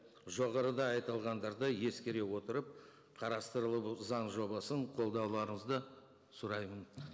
жоғарыда айтылғандарды ескере отырып қарастырылып заң жобасын қолдауларыңызды сұраймын